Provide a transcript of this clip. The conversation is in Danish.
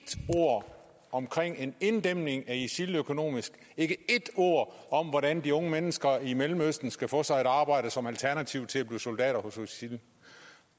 ord om en inddæmning af isil økonomisk ikke ét ord om hvordan de unge mennesker i mellemøsten skal få sig et arbejde som alternativ til at blive soldater hos isil